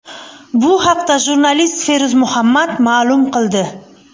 Bu haqda jurnalist Feruz Muhammad ma’lum qildi.